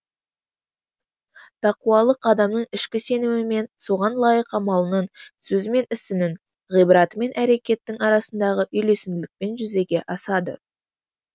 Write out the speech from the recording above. тақуалық адамның ішкі сенімі мен соған лайық амалының сөзі мен ісінің ғибраты мен әрекеттің арасындағы үйлесімділікпен жүзеге асады